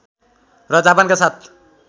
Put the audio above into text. र जापानका साथ